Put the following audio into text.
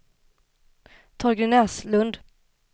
Torgny Näslund